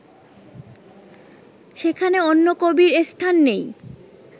সেখানে অন্য কবির স্থান নেই